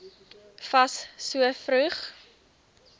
fas so vroeg